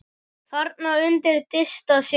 Þarna undi Dysta sér vel.